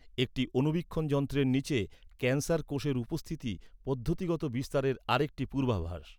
একটি অণুবীক্ষণ যন্ত্রের নিচে ক্যান্সার কোষের উপস্থিতি পদ্ধতিগত বিস্তারের আরেকটি পূর্বাভাস।